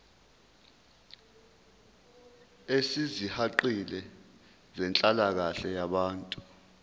ezisihaqile zenhlalakahle yabantu